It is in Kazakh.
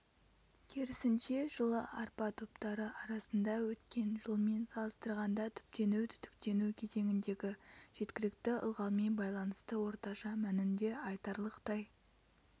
керісінше жылы арпа топтары арасында өткен жылмен салыстырғанда түптену-түтіктену кезеңіндегі жеткілікті ылғалмен байланысты орташа мәнінде айтарлықтай